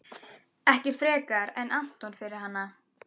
Ekki frekar en Anton fyrir hana.